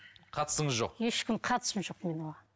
қатысыңыз жоқ ешкім қатысым жоқ мен оған